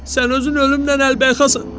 Sən özün ölümlə əlbəyakasan!